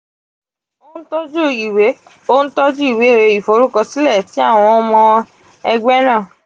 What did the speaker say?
o n tọju iwe o n tọju iwe iforukọsilẹ ti awọn ọmọ ẹgbẹ naa.